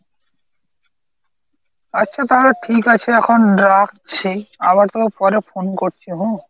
আচ্ছা তাহলে ঠিক আছে এখন রাখছি, আবার তোকে পরে phone করছি হ্যাঁ?